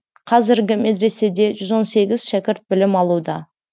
қазіргі медреседе жүз он сегіз шәкірт білім алуда